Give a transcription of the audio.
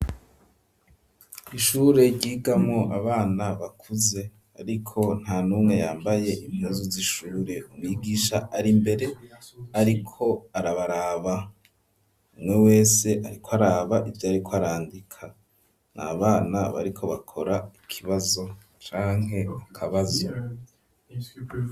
Ishure ryigamwo abana bakuze ariko nta numwe yambaye impuzu z'ishure, umwigisha ari mbere ariko arabaraba, umwe wese ariko araba ivyarik'arandika n'abana bariko bakora ikibazo canke akabazo.